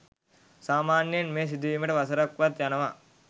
සාමාන්‍යයෙන් මෙය සිදුවීමට වසරක් වත් යනවා.